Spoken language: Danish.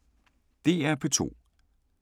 DR P2